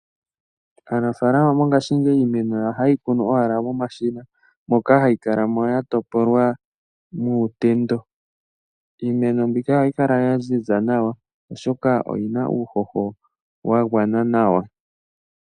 Aanafalama mongashingeyi iimeno yawo ohaye yi kunu owala momashina moka hayi kala mo ya topolwa muutendo. Iimeno mbika ohayi kala ya ziza nawa, oshoka oyi na uuhoho wa gwana nawa.